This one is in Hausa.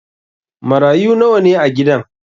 Marayu nawa ne a gidan?